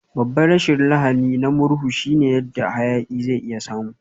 Babban rashin lahani na murhu shine yadda hayaki zai iya samu.